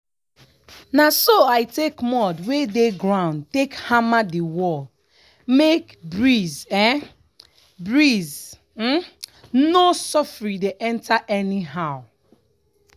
na so i take mud wey dey ground take hammer the wall make breeze um breeze um no soffri dey enter anyhow.